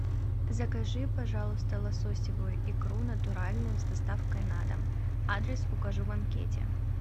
закажи пожалуйста лососевую икру натуральную с доставкой на дом адрес укажи в анкете